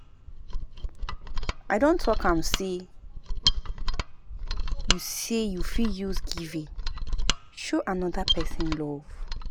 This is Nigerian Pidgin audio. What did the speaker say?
I don tok am sey you sey you fit use giving show anoda pesin love.